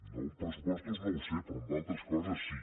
no en pressupostos no ho sé però en altres coses sí